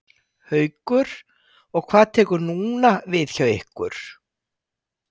Haukur: Og hvað tekur núna við hjá ykkur?